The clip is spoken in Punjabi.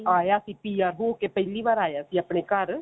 ਆਇਆ ਸੀ PR ਹੋਕੇ ਪਹਿਲੀ ਵਾਰ ਆਇਆ ਸੀ ਆਪਣੇ ਘਰ